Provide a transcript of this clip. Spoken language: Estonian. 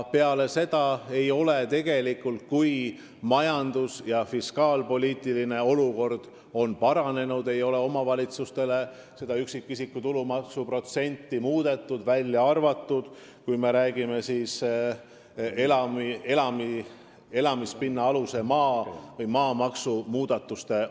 Ja ehkki meie majanduslik ja fiskaalpoliitiline olukord on paranenud, ei ole neil seda üksikisiku tulumaksu protsenti muudetud, välja arvatud elamispinnaaluse maa maksu, st maamaksu muudatused.